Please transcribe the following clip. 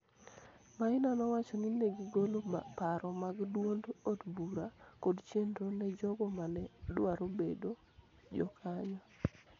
Maina nowacho ni ne gigolo paro mag duond od bura kod chenro ne jogo ma ne dwaro bedo jokanyo